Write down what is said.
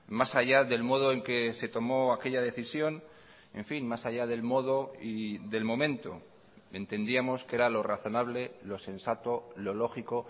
más allá del modo en que se tomó aquella decisión en fin más allá del modo y del momento entendíamos que era lo razonable lo sensato lo lógico